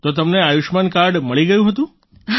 તો તમને આયુષ્યમાન કાર્ડ મળી ગયું હતું